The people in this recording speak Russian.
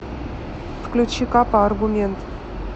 включи капа аргумент